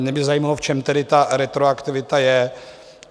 Mě by zajímalo, v čem tedy ta retroaktivita je.